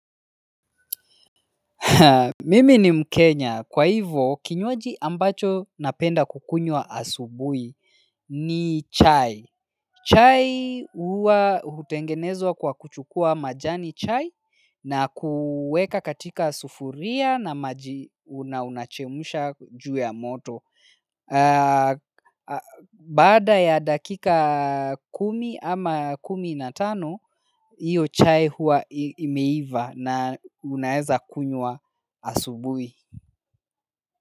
Mimi ni mkenya. Kwa hivyo, kinywaji ambacho napenda kukunywa asubuhi ni chai. Chai huwa hutengenezwa kwa kuchukua majani chai na kuweka katika sufuria na maji una unachemsha juu ya moto. Baada ya dakika kumi ama kumi na tano hiyo chai huwa imeiva na unaweza kunywa asubuhi.